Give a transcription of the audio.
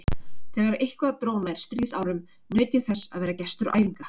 Þegar eitthvað dró nær stríðsárum, naut ég þess að vera gestur æfinga